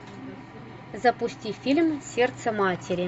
запусти фильм сердце матери